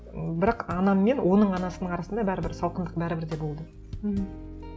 м бірақ анаммен оның анасының арасында бәрібір салқындық бәрібір де болды мхм